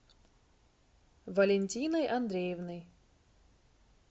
валентиной андреевной